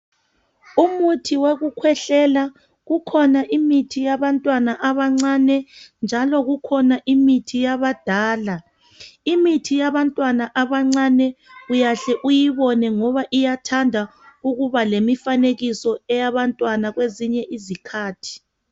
Umuthi wokukhwehlela, kukhona imithi yabantwana abancane njalo kukhona imithi yabadala. Imithi yabantwana abancane uyahle uyibone ngoba iyathanda ukuba lemifanekiso eyabantwana kwezinye izikhathi.